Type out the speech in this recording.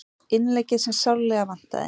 Innleggið sem sárlega vantaði